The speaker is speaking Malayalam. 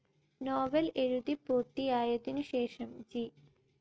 നോവൽ എഴുതി പൂർത്തിയായതിനുശേഷം ജി